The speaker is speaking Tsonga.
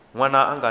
n wana a nga si